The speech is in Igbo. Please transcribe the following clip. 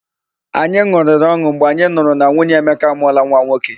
Anyị n̄ụrịrị ọn̄ụ mgbe anyị nụrụ na nwunye Emeka amụọla nwa nwoke.